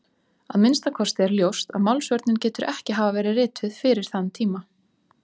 Að minnsta kosti er ljóst að Málsvörnin getur ekki hafa verið rituð fyrir þann tíma.